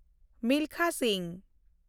Milkha Singh